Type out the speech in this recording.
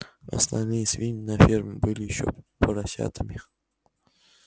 остальные свиньи на ферме были ещё поросятами